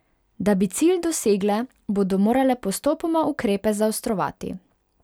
Da bi cilj dosegle, bodo morale postopoma ukrepe zaostrovati.